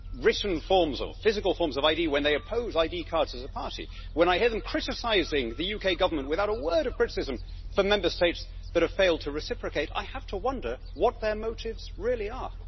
written forms, or physical forms of ID, when they oppose ID cards as a party, and when I hear them criticising the UK Government without a word of criticism for Member States that have failed to reciprocate, I have to wonder what their motives really are.